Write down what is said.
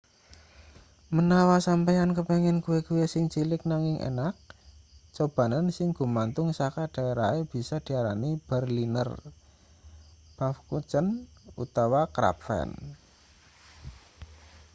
menawa sampeyan kepengin kue-kue sing cilik nanging enak cobanen sing gumantung saka daerahe bisa diarani berliner pfannkuchen utawa krapfen